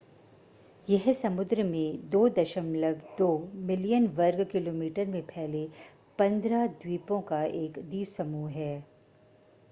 यह समुद्र में 2.2 मिलियन वर्ग किलोमीटर में फैले 15 द्वीपों एक द्वीपसमूह है